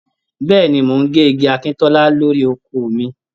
Bẹ́ẹ̀ni, mò ń gé igi akíntọ́lá lórí oko mi